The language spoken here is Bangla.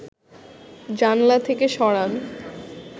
জানলা থেকে সরান